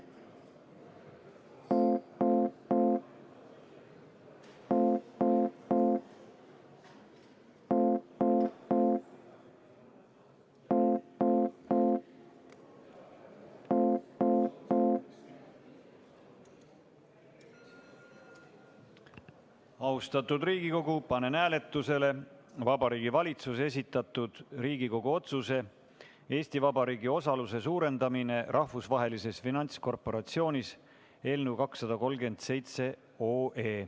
Austatud Riigikogu, panen hääletusele Vabariigi Valitsuse esitatud Riigikogu otsuse "Eesti Vabariigi osaluse suurendamine Rahvusvahelises Finantskorporatsioonis" eelnõu 237.